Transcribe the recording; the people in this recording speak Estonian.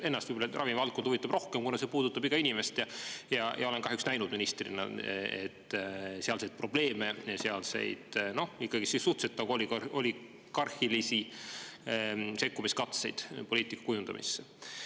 Ennast võib-olla ravimivaldkond huvitab rohkem, kuna see puudutab iga inimest, ja olen kahjuks näinud ministrina sealseid probleeme ja sealseid ikkagi suhteliselt oligarhilisi sekkumiskatseid poliitika kujundamisse.